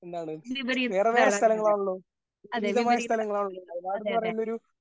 02:2502.30